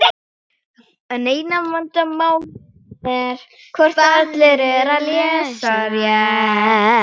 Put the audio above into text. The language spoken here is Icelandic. Pabbi fór eigin leiðir.